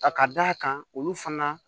A ka d' a kan olu fana